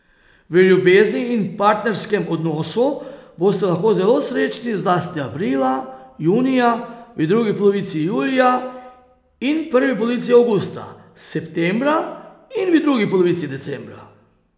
V ljubezni in partnerskem odnosu boste lahko zelo srečni zlasti aprila, junija, v drugi polovici julija in prvi polovici avgusta, septembra in v drugi polovici decembra.